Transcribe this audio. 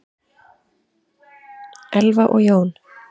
Elfa og Jón.